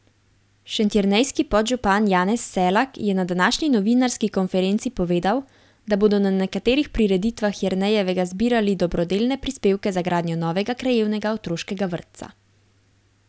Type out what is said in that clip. Šentjernejski podžupan Janez Selak je na današnji novinarski konferenci povedal, da bodo na nekaterih prireditvah Jernejevega zbirali dobrodelne prispevke za gradnjo novega krajevnega otroškega vrtca.